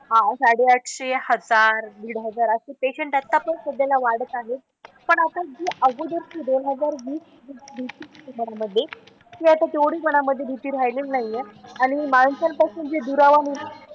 हां साडे आठशे, हजार, दीड हजार असे पेशन्ट आता पण सध्याला वाढत आहेत. पण आता जी अगोदरची दोन हजार वीसची भीती जी होती यामधे ती आता तेवढी कोणामधे भीती राहिलेली नाही आहे. आणि माणसांपासून जे दुरावा,